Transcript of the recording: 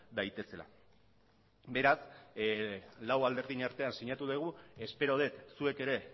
daitezela beraz lau alderdien artean sinatu dugu espero dut zuek ere